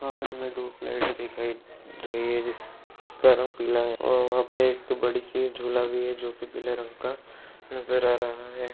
वहाँ पे हमें दो फ्लैग्स दिखाई रही है जिसका रंग पीला है और वहाँ पे एक बड़ी सी झुला भी है जोकि पीले रंग का नज़र आ रहा है।